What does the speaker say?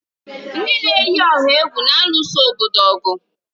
Ndị na-eyi ọha egwu na-alụso obodo ọgụ.